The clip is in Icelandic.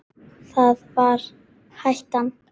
Það var hættan.